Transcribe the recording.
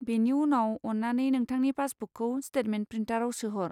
बेनि उनाव, अन्नानै नोंथांनि पासबुकखौ स्टेटमेन्ट प्रिन्टाराव सोहर।